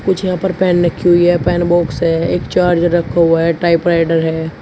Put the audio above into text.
कुछ यहां पर पेन रखी हुई हैं। पेन बॉक्स है। एक चार्ज रखा हुआ है टाइपराइटर है।